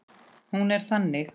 Hún er þannig